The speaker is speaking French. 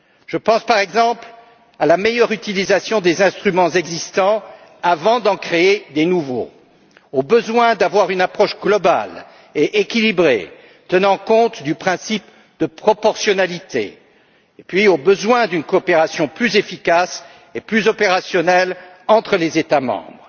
Je pense, par exemple, à la meilleure utilisation des instruments existants avant d'en créer de nouveaux, au besoin d'adopter une approche globale et équilibrée tenant compte du principe de proportionnalité, puis au besoin d'une coopération plus efficace et plus opérationnelle entre les États membres,